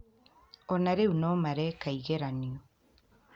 O na rĩu no mareka ĩgeranio